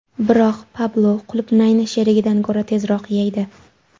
Biroq Pablo qulupnayni sherigidan ko‘ra tezroq yeydi.